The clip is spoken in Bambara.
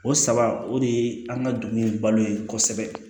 O saba o de ye an ka dugu in balo ye kosɛbɛ